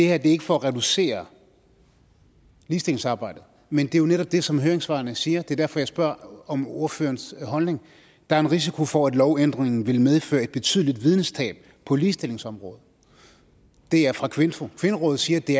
er ikke for at reducere ligestillingsarbejdet men det er jo netop det som høringssvarene siger det er derfor jeg spørger om ordførerens holdning der er en risiko for at lovændringen vil medføre et betydeligt videnstab på ligestillingsområdet det er fra kvinfo kvinderådet siger at det